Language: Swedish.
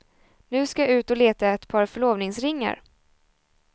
Nu ska jag ut och leta ett par förlovningsringar.